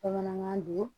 Bamanankan don